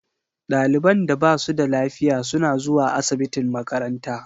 Ɗaliban da ba su da lafiya suna zuwa asibitin makaranta.